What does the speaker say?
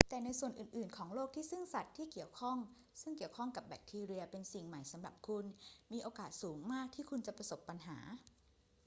แต่ในส่วนอื่น ๆ ของโลกที่ซึ่งสัตว์ซึ่งเกี่ยวข้องกับแบคทีเรียเป็นสิ่งใหม่สำหรับคุณ มีโอกาสสูงมากที่คุณจะประสบปัญหา